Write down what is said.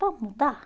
Vamos mudar?